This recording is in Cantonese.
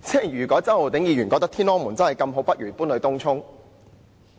如果周浩鼎議員覺得"天安門"真的這麼好，不如搬到東涌吧。